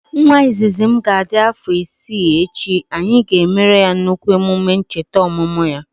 Nwa izizi m ga adị afọ isii echi, anyị ga emere ya nnukwu emume chete ọmụmụ ya